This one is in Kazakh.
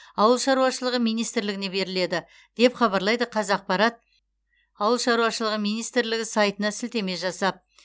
ауыл шаруашылығы министрлігіне беріледі деп хабарлайды қазақпарат ауыл шаруашылығы министрлігі сайтына сілтеме жасап